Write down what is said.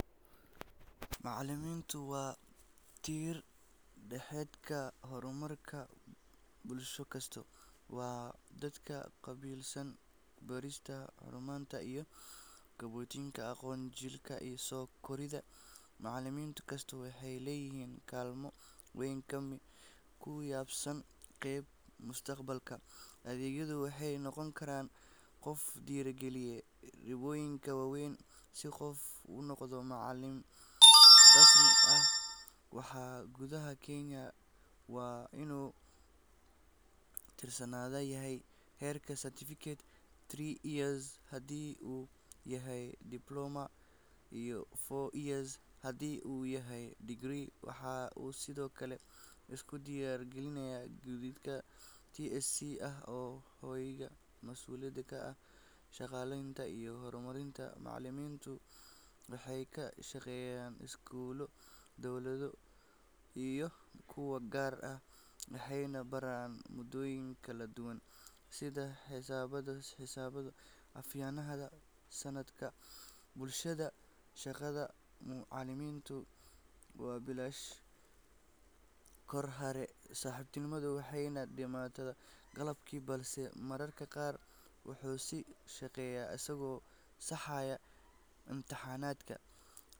Macallimiintu waa tiir-dhexaadka horumarka bulsho kasta. Waa dadka qaabilsan barista, hanuuninta, iyo kobcinta aqoonta jiilka soo koraya. Macallin kastaa wuxuu leeyahay kaalmo weyn oo ku saabsan qaabeynta mustaqbalka ardayga, wuxuuna noqon karaa qof dhiirrigeliya riyooyin waaweyn. Si qof u noqdo macallin rasmi ah gudaha Kenya, waa inuu barto cilmiga macallinimada ugu yaraan muddo two years ah haddii uu yahay heerka certificate, three years haddii uu yahay diploma, iyo four years haddii uu yahay degree. Waxa uu sidoo kale iska diiwaangeliyaa guddiga TSC oo ah hay’adda mas’uulka ka ah shaqaaleynta iyo kormeerka macallimiinta. Macallimiintu waxay ka shaqeeyaan iskuullo dowladeed iyo kuwo gaar ah, waxayna baraan maadooyin kala duwan sida xisaabta, sayniska, afafka iyo culuumta bulshada. Shaqada macallinka waxay bilaabataa goor hore oo subaxnimo waxayna dhammaataa galabkii, balse mararka qaar wuxuu sii shaqeeyaa isagoo saxaya imtixaano.